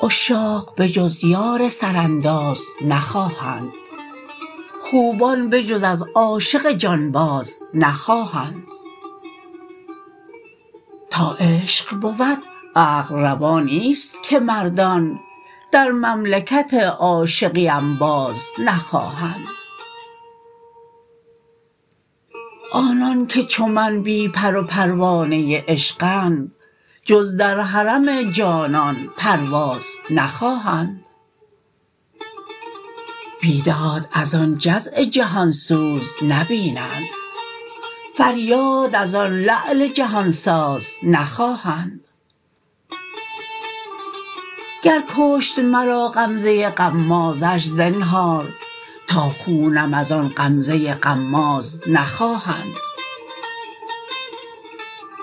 عشاق بجز یار سرانداز نخواهند خوبان بجز از عاشق جان باز نخواهند تا عشق بود عقل روا نیست که مردان در مملکت عاشقی انباز نخواهند آنان که چو من بی پر و پروانه عشقند جز در حرم جانان پرواز نخواهند بیداد از آن جزع جهان سوز نبینند فریاد از آن لعل جهان ساز نخواهند گر کشت مرا غمزه غمازش زنهار تا خونم از آن غمزه غماز نخواهند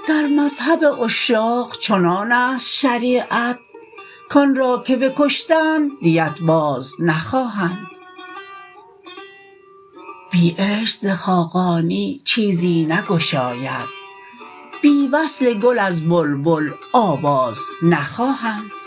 در مذهب عشاق چنان است شریعت کآن را که بکشتند دیت باز نخواهند بی عشق ز خاقانی چیزی نگشاید بی وصل گل از بلبل آواز نخواهند